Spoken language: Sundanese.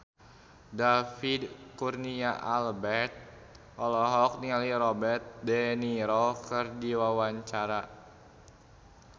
David Kurnia Albert olohok ningali Robert de Niro keur diwawancara